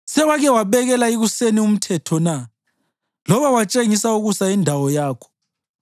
Sewake wabekela ikuseni umthetho na, loba watshengisa ukusa indawo yakho